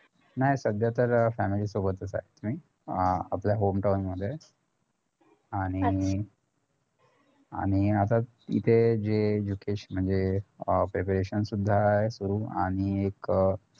नाही सध्या तर family सोबतच आहे मी अं आपलं home town मध्ये आणि आता इथे जे विशेष म्हणजे अं preparation सुद्धा आहे करू आणि एक